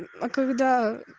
а когда